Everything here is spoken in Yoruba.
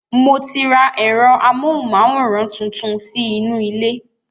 Mo ti ra ẹ̀rọ amóhùnmáwòrán tuntun sí inú ilé